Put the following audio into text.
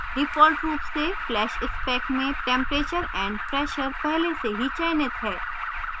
default रूप से flash spec में temperature and pressure पहले से ही चयनित है